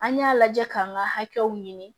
An y'a lajɛ k'an ka hakɛw ɲini